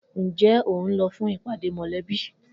Njẹ ohun lọ fún ìpàdé mọlẹbi?